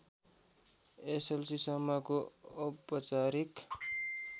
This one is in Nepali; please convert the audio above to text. एसएलसीसम्मको औपचारिक